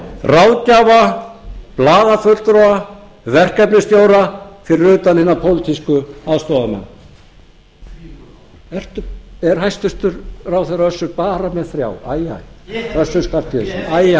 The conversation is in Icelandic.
ráðgjafa blaðafulltrúa verkefnisstjóra fyrir utan hina pólitísku aðstoðarmenn ég er bara með þrjá er hæstvirtur ráðherra össur bara með þrjá æ æ ég hef einn æ æ